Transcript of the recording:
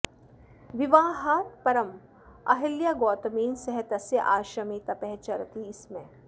विवाहात् परम् अहल्या गौतमेन सह तस्य आश्रमे तपः चरति स्म